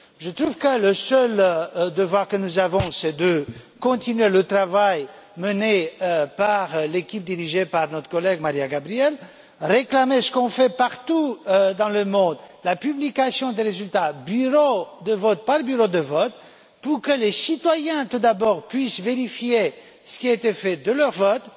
Je trouve que le seul devoir que nous avons, c'est de continuer le travail mené par l'équipe dirigée par notre collègue Mariya Gabriel et de réclamer ce qu'on fait partout dans le monde, la publication des résultats bureau de vote par bureau de vote, pour que les citoyens, tout d'abord, puissent vérifier ce qui a été fait de leur vote